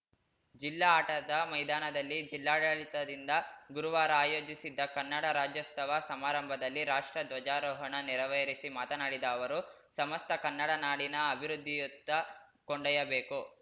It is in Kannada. ಜಿಲ್ಲಾ ಆಟದ ಮೈದಾನದಲ್ಲಿ ಜಿಲ್ಲಾಡಳಿತದಿಂದ ಗುರುವಾರ ಆಯೋಜಿಸಿದ್ದ ಕನ್ನಡ ರಾಜ್ಯೋತ್ಸವ ಸಮಾರಂಭದಲ್ಲಿ ರಾಷ್ಟ್ರ ಧ್ವಜಾರೋಹಣ ನೆರವೇರಿಸಿ ಮಾತನಾಡಿದ ಅವರು ಸಮಸ್ತ ಕನ್ನಡ ನಾಡಿನ ಅಭಿವೃದ್ಧಿಯತ್ತ ಕೊಂಡೊಯ್ಯಬೇಕು